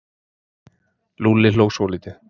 Lúlli hló svolítið.